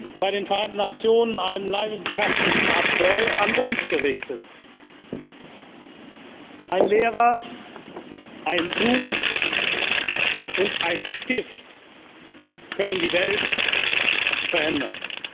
haben Sie bei den Vereinten Nationen einen leidenschaftlichen Appell an uns gerichtet Ein Lehrer, ein Buch und ein Stift können die Welt verändern!